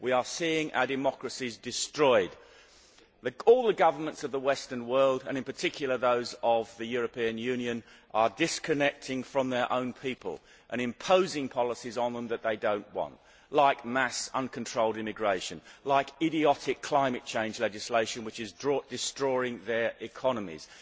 We are seeing our democracies destroyed. All the governments of the western world, and in particular those of the European Union, are disconnecting from their own people and imposing policies on them which they do not want like mass uncontrolled immigration and idiotic climate change legislation, which is destroying their economies.